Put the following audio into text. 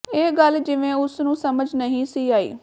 ਇਹ ਗੱਲ ਜਿਵੇਂ ਉਸ ਨੂੰ ਸਮਝ ਨਹੀਂ ਸੀ ਆਈ